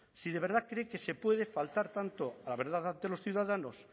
si de verdad cree que se puede faltar tanto a la verdad ante los ciudadanos